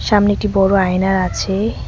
সামনে একটি বড় আয়না আছে।